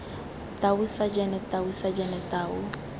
tau sajene tau sajene tau